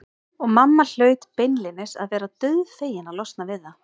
Og mamma hlaut beinlínis að vera dauðfegin að losna við þá.